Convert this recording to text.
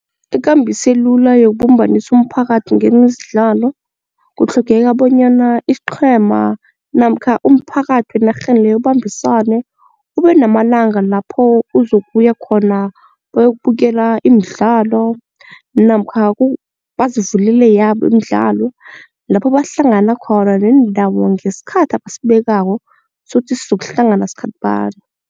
Ikambiso elula yokubumbanisa umphakathi ngemidlalo, kutlhogeka bonyana isiqhema namkha umphakathi enarheni le ubambisane ube namalanga lapho uzokuya khona bayokubukela imidlalo namkha bazivulele yabo imidlalo lapho bahlangana khona nendawo ngesikhathi abasibekako sokuthi sokuhlangana sikhathi bani.